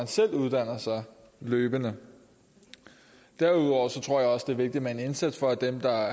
selv uddanner sig løbende derudover tror jeg også det er vigtigt med en indsats for at dem der